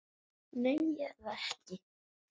Nei, ég er það ekki.